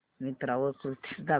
मिंत्रा वर कुर्तीझ दाखव